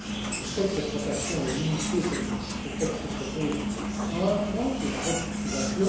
Je sais que cette rotation est limitée, comme ce texte le propose, à un point qui est la retitrisation.